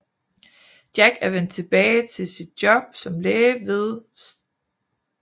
Jack er vendt tilbage i sit job som læge ved St